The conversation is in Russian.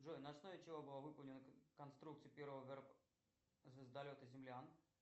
джой на основе чего была выполнена конструкция первого звездолета землян